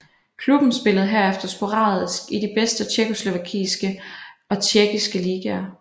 Klubben spillede herefter sporadisk i de bedste tjekkoslovakiske og tjekkiske ligaer